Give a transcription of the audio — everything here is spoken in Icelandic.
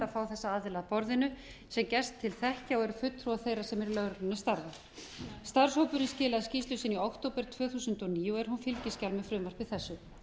að fá þessa aðila að borðinu sem gerst til þekkja og eru fulltrúar þeirra sem í lögreglunni starfa starfshópurinn skilaði skýrslu sinni í október tvö þúsund og níu og er hún fylgiskjal með frumvarpi þessu